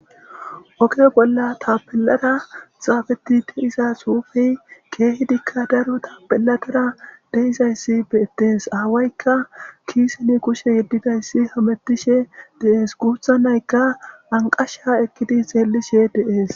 Oge bolla tapelada xaafeti deiza xuufey keehidikka daru tapeladara deizayssi beettees aawaykka kiiseni kushe yeddidayssi hamettishe deees guutha naykka anqasha ekkidi xeellishe deees.